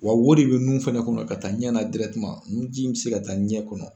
Wa wo de bɛ nun fana kɔnɔ ka taa ɲɛ na nunji min bɛ se ka taa ɲɛ kɔnɔ